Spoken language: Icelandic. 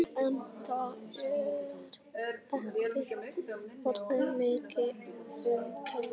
En það er ekki orðið mikið um töðuilm.